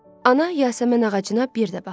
Ana yasəmən ağacına bir də baxdı.